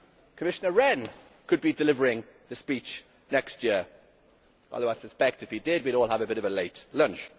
Commissioner Rehn could be delivering the speech next year, although I suspect that if he did we would all have a bit of a late lunch.